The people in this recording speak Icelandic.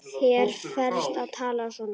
Þér ferst að tala svona!